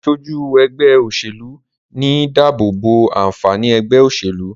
aṣojú ègbé òṣèlú ní dàbobo ànfàní ègbé òṣèlú.